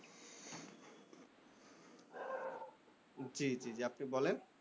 জ্বি জ্বি জ্বি, আপনি বলেন।